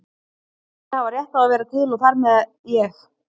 Allir hafa rétt á að vera til og þar með ég.